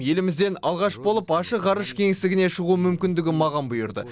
елімізден алғаш болып ашық ғарыш кеңістігіне шығу мүмкіндігі маған бұйырды